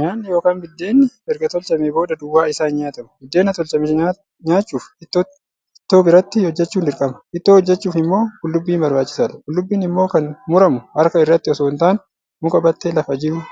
Nyaanni yookaan buddeenni erga tolchameen booda duwwaa isaa hin nyaatamu. Biddeena tolchame nyaachuuf ittoo biratti hojjechuun dirqama. Ittoo hojjachuuf immoo qullubbiin barbaachisaadha. Qullubbiin immoo kan muramu harka irratti osoo hin taane, muka battee lafa jiru